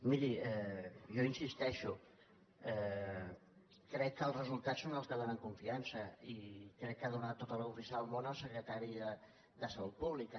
miri jo hi insisteixo crec que els resultats són els que donen confiança i crec que ha donat tota la confiança del món el secretari de salut pública